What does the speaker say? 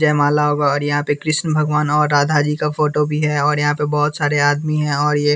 जय माला होगा और यहाँ पे कृष्ण भगवान और राधा जी का फोटो भी है और यहाँ पे बहुत सारे आदमी हैं और ये --